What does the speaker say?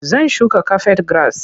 Zan shuka kafet giras.